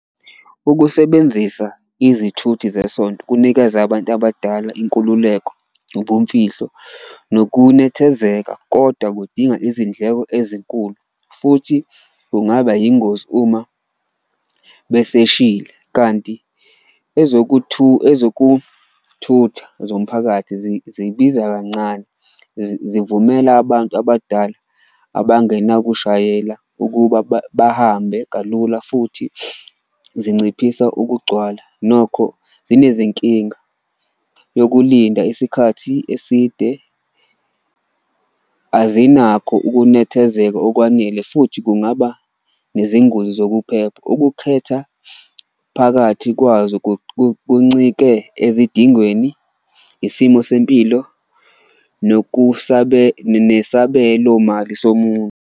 Ukusebenzisa izithuthi zesonto kunikeza abantu abadala inkululeko, ubumfihlo nokunethezeka koda kudinga izindleko ezinkulu futhi kungaba yingozi uma beseshile. Kanti ezokuthutha zomphakathi zibiza kancane, zivumela abantu abadala abangenakushayela ukuba bahambe kalula futhi zinciphisa ukugcwala. Nokho zinezinkinga yokulinda isikhathi eside, azinako ukunethezeka okwanele futhi kungaba nezingozi zokuphepha, ukukhetha phakathi kwazo kuncike ezidingweni, isimo sempilo nesabelomali somuntu.